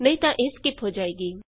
ਨਹੀਂ ਤਾਂ ਇਹ ਸਕਿਪ ਹੋ ਜਾਏਗੀ